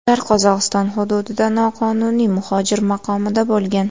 Ular Qozog‘iston hududida noqonuniy muhojir maqomida bo‘lgan.